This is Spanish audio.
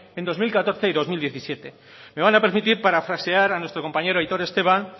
en dos mil catorce y dos mil diecisiete me van a permitir parafrasear a nuestro compañero aitor esteban